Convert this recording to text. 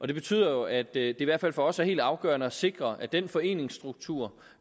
det betyder at det i hvert fald for os er helt afgørende at sikre at den foreningsstruktur